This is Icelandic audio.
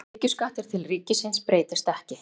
Tekjuskattur til ríkisins breytist ekki